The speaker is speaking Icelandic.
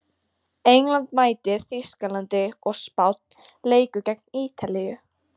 England mætir Þýskalandi og Spánn leikur gegn Ítalíu.